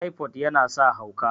typod yana sa hauka